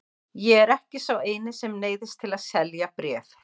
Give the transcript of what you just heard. Ég er ekki sá eini sem neyðist til að selja bréf.